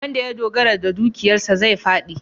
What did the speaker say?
Wanda ya dogara ga dukiyarsa zai fāɗi.